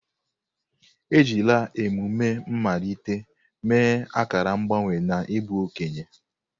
Ejila emume mmalite mee akara mgbanwe n'ịbụ okenye.